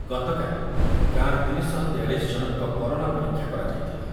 ଗତକାଲି ଗାଁରେ ତିନିଶହତେୟାଳିଶ ଜଣଙ୍କ କରୋନା ପରୀକ୍ଷା କରାଯାଇଥିଲା।